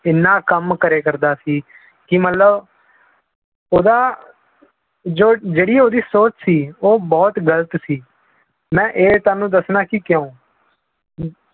ਇੰਨਾ ਕੰਮ ਕਰਿਆ ਕਰਦਾ ਸੀ ਕਿ ਮਤਲਬ ਉਹਦਾ ਜੋ ਜਿਹੜੀ ਉਹਦੀ ਸੋਚ ਸੀ ਉਹ ਬਹੁਤ ਗ਼ਲਤ ਸੀ, ਮੈਂ ਇਹ ਤੁਹਾਨੂੰ ਦੱਸਣਾ ਕਿ ਕਿਉਂ